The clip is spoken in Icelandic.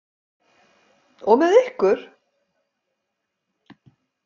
Og með ykkur!